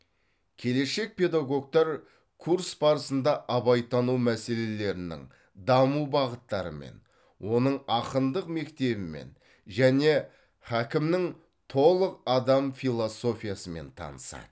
келешек педагогтар курс барысында абайтану мәселелерінің даму бағыттарымен оның ақындық мектебімен және хакімнің толық адам философиясымен танысады